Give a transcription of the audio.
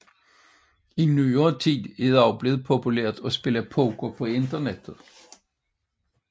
I nyere tid er det også blevet populært at spille poker på internettet